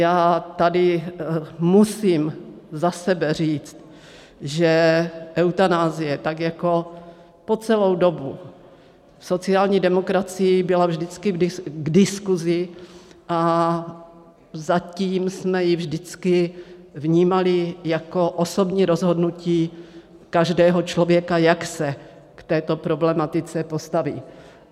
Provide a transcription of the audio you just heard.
Já tady musím za sebe říct, že eutanazie, tak jako po celou dobu, v sociální demokracii byla vždycky k diskusi, a zatím jsme ji vždycky vnímali jako osobní rozhodnutí každého člověka, jak se k této problematice postaví.